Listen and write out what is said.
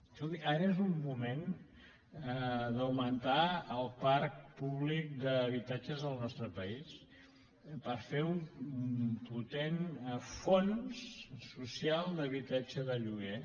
escoltin ara és un moment d’augmentar el parc públic d’habitatges al nostre país per fer un potent fons social d’habitatge de lloguer